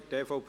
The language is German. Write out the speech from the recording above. Für die EVP